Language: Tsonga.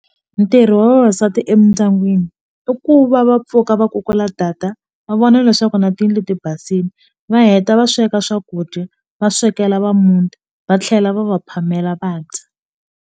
Ntirho wa vavasati emindyangwini i ku va va pfuka va kukula va vona leswaku na ti leti basile va heta va sweka swakudya va swekela va muti va tlhela va va phamela vadya.